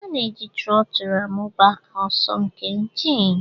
A na-eji trotul amụba ọsọ nke injin